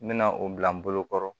N bɛna o bila n bolokɔrɔ